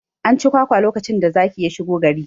An ci kwakwa lokacin da zaki ya shigo gari